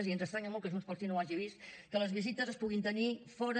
i ens estranya molt que junts pel sí no ho hagi vist que les visites es puguin tenir fora